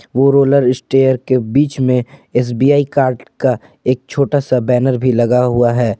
Four wheeler steer के बीच में एस_बी_आई कार्ड का एक छोटा सा बैनर भी लगा हुआ है ।